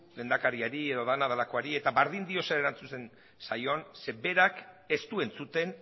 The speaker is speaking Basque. lehendakariari edo dana dalakoari eta bardin dio zer erantzuten zaion ze berak ez du entzuten